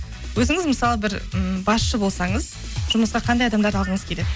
өзіңіз мысалы бір м басшы болсаңыз жұмысқа қандай адамдарды алғыңыз келеді